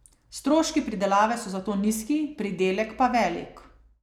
Stroški pridelave so zato nizki, pridelek pa velik.